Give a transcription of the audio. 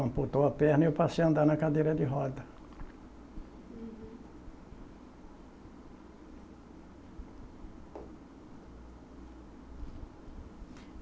Amputou a perna e eu passei a andar na cadeira de roda. Uhum.